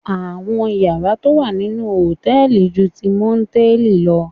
Àwọn yàrá tó wà nínú hòtẹ́ẹ̀li ju ti mòtẹ́ẹ̀lì lọ